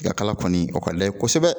Tigakala kɔni o ka d'a ye kosɛbɛ.